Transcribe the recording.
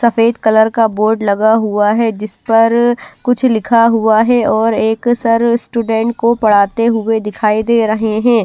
सफेद कलर का बोर्ड लगा हुआ है जिस पर कुछ लिखा हुआ है और एक सर स्टूडेंट को पढ़ाते हुए दिखाई दे रहे हैं।